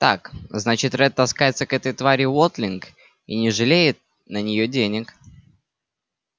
так значит ретт таскается к этой твари уотлинг и не жалеет на нее денег